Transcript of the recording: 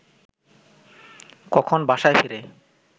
কখন বাসায় ফেরে